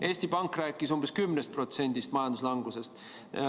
Eesti Pank rääkis umbes 10% majanduslangusest.